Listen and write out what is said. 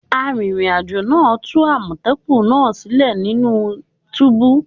Arìnrìn àjò náà tú àmọ̀tẹ́kùnnaa sílẹ̀ nínú túbú